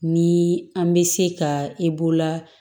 Ni an bɛ se ka i bolola